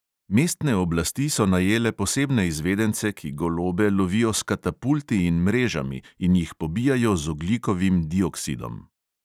Mestne oblasti so najele posebne izvedence, ki golobe lovijo s katapulti in mrežami in jih pobijajo z ogljikovim dioksidom.